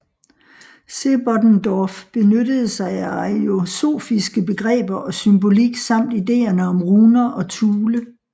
Sebottendorf benyttede sig af ariosofiske begreber og symbolik samt ideerne om runer og Thule